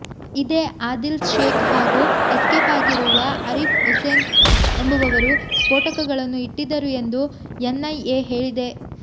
ಇದೇ ಅದಿಲ್ಶೇಖ್ ಹಾಗೂ ಎಸ್ಕೇಪ್ ಆಗಿರುವ ಅರೀಪ್ ಹುಸೇನ್ ಎಂಬುವವರು ಸ್ಪೋಟಕಗಳನ್ನು ಇಟ್ಟಿದ್ದರು ಎಂದು ಎನ್ ಐ ಎ ಹೇಳಿದೆ